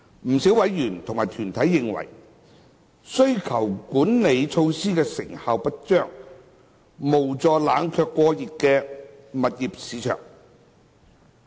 不少委員及團體代表認為，需求管理措施成效不彰，無助冷卻過熱的住宅物業市場。